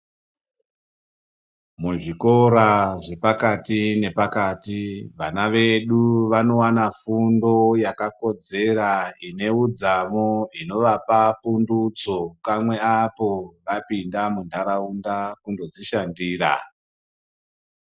Muzvikora zvepakati nepakati vana vedu vanowana fundo yakakodzera ine udzamu inovapa pundutso kamwe apo vapinda muntaraunda kundo dzishandira.